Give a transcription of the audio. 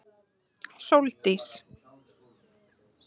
Sóldís